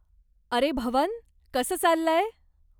अरे भवन, कसं चाललंय?